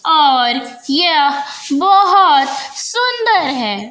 और यह बहोत सुंदर है।